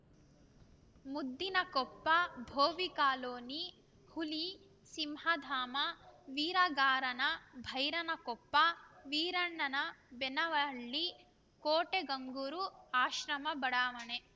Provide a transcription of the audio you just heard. ಮುದ್ದಿನಕೊಪ್ಪ ಬೋವಿಕಾಲೋನಿ ಹುಲಿಸಿಂಹಧಾಮ ವೀರಗಾರನ ಬೈರನಕೊಪ್ಪ ವೀರಣ್ಣನಬೆನವಳ್ಳಿ ಕೋಟೆಗಂಗೂರು ಆಶ್ರಮ ಬಡಾವಣೆ